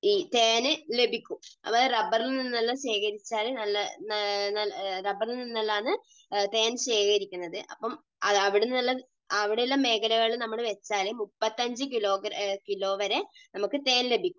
തേൻ ലഭിക്കും. അതായത് റബ്ബറിൽ നിന്ന് എല്ലാം ശേഖരിച്ചാൽ നല്ല, റബറിൽ നിന്ന് എല്ലാമാണ് തേൻ ശേഖരിക്കുന്നത്. അപ്പോൾ അവിടെ നിന്നെല്ലാം, അവിടെയുള്ള മേഖലകളിൽ നമ്മൾ വെച്ചാൽ 35 കിലോ വരെ നമുക്ക് തേൻ ലഭിക്കും.